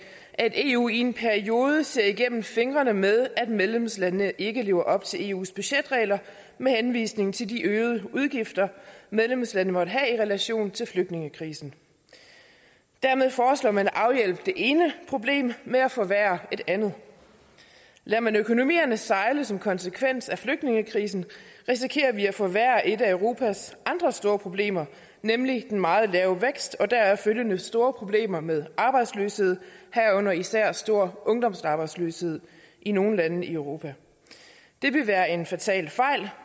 at eu i en periode ser igennem fingrene med at medlemslandene ikke lever op til eus budgetregler med henvisning til de øgede udgifter medlemslandene måtte have i relation til flygtningekrisen dermed foreslår man at afhjælpe det ene problem ved at forværre et andet lader man økonomierne sejle som konsekvens af flygtningekrisen risikerer vi at forværre et af europas andre store problemer nemlig den meget lave vækst og de deraf følgende store problemer med arbejdsløshed herunder især stor ungdomsarbejdsløshed i nogle lande i europa det ville være en fatal